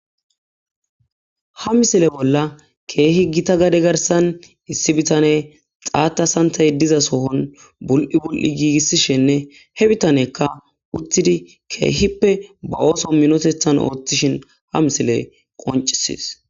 ha misile bolla keehi gita gade garsan issi bitane xaata santay diza sohon bul7i bul7i giigissishenne he bitanekka uttidi keehippe ba ooso minotethan oothtishin ha misile qoncises.